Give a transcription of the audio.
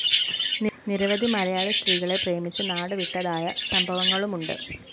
നിരവധി മലയാളി സ്ത്രീകളെ പ്രേമിച്ച് നാടുവിട്ടതായ സംഭവങ്ങളുമുണ്ട്